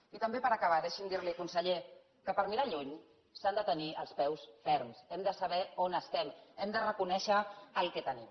i també per acabar deixi’m dir li conseller que per mirar lluny s’han de tenir els peus ferms hem de saber on estem i hem de reconèixer el que tenim